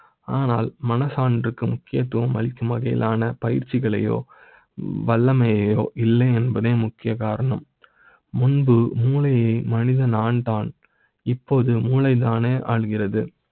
ஆனால் மன சான்று க்கு முக்கியத்துவ ம் அளிக்கும் வகையிலான பயிற்சிகளை யோ வல்லமை யோ இல்லை என்ப தே முக்கிய காரணம் . முன்பு மூளை யை மனித நான் தான் இப்போது மூளை தானே ஆளுகிறது.